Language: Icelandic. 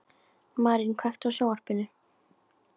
Marín, kveiktu á sjónvarpinu.